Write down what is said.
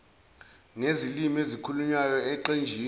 ngezilimi ezikhulunywayo eqenjini